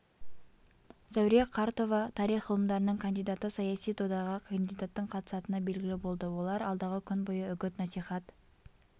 зәуре қартова тарих ғылымдарының кандидаты саяси додаға кандидаттың қатысатыны белгілі болды олар алдағы күн бойы үгіт-насихат